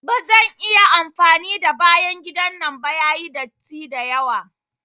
Ba zan iya amfani da bayan gidan nan ba, yayi datti dayawa.